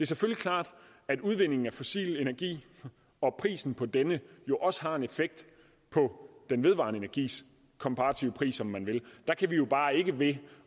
selvfølgelig klart at udvindingen af fossil energi og prisen på denne jo også har en effekt på den vedvarende energis komparative pris om man vil der kan vi jo bare ikke ved